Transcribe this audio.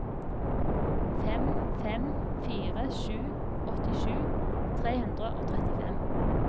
fem fem fire sju åttisju tre hundre og trettifem